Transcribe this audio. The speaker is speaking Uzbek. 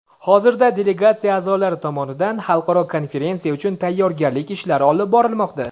Hozirda delegatsiya a’zolari tomonidan xalqaro konferensiya uchun tayyorgarlik ishlari olib borilmoqda.